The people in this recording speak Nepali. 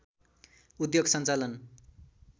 उद्योग सञ्चालन